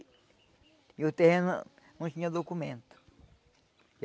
E o terreno não tinha documento.